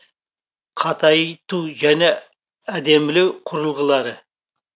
қатайту және әдемілеу құрылғылары